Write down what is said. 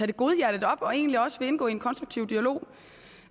det godhjertet op og egentlig også indgå i en konstruktiv dialog